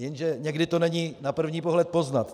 Jenže někdy to není na první pohled poznat.